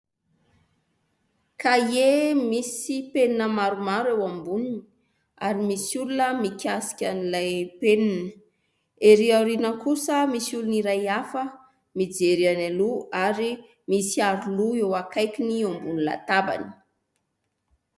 Kahie misy penina maromaro eo amboniny ary misy olona mikasika an'ilay penina, erỳ aoriana kosa misy olona iray hafa mijery any aloha ary misy aroloha eo akaikiny, eo ambony latabany.